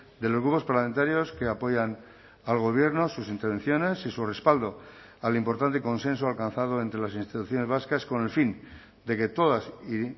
de los grupos parlamentarios que apoyan al gobierno sus intervenciones y su respaldo al importante consenso alcanzado entre las instituciones vascas con el fin de que todas y